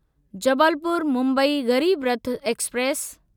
Jabalpur Mumbai Garib Rath express